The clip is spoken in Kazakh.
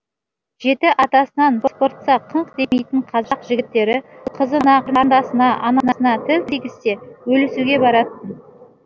жеті атасынан сыпыртса қыңқ демейтін қазақ жігіттері қызына қарындасына анасына тіл тигізсе өлісуге баратын